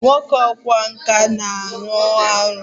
Nwoke ọkwá nkà a ma ọrụ arụ!